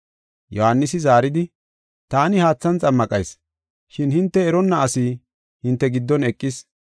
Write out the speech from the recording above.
Yohaanisi zaaridi, “Taani haathan xammaqayis, shin hinte eronna asi hinte giddon eqis.